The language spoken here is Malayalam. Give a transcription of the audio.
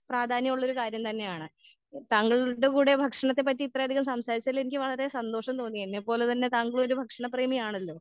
പ്രാധാന്യമുള്ള ഒരു കാര്യം തന്നെയാണ്. താങ്കൾടെ കൂടെ ഭക്ഷണത്തെ പറ്റി ഇത്രയധികം സംസാരിച്ചതിൽ എനിക്ക് വളരെ സന്തോഷം തോന്നി എന്നെപോലെ തന്നെ താങ്കൾ ഒരു ഭക്ഷണ പ്രേമി ആണലോ?